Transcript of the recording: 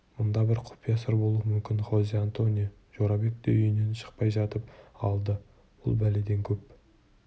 мұнда бір құпия сыр болуы мүмкін хозе-антонио жорабек те үйінен шықпай жатып алды бұл бәледен көп